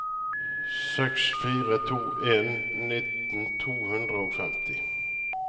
seks fire to en nitten to hundre og femti